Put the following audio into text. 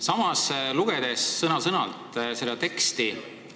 Samas, lugedes sõna-sõnalt seda teksti ...